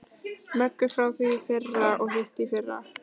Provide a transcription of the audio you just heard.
Möggu frá því í fyrra og hitteðfyrra.